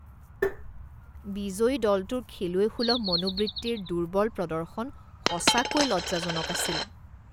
বিজয়ী দলটোৰ খেলুৱৈসুলভ মনোবৃত্তিৰ দুৰ্বল প্ৰদৰ্শন সঁচাকৈ লজ্জাজনক আছিল